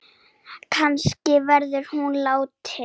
Kannski var hún látin.